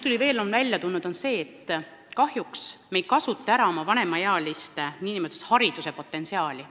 Veel on ilmnenud, et kahjuks me ei kasuta ära vanemaealiste inimeste hariduslikku potentsiaali.